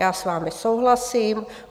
Já s vámi souhlasím.